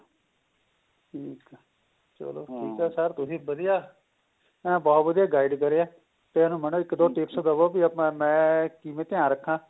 ਠੀਕ ਏ ਚਲੋ ਸਿਰ ਤੁਸੀਂ ਵਧੀਆ ਬਹੁਤ ਵਧੀਆ guide ਕਰਿਆ ਤੇ ਮੈਨੂੰ ਇੱਕ ਦੋ tips ਦਵੋ ਵੀ ਮੈਂ ਕਿਵੇਂ ਧਿਆਨ ਰੱਖਾ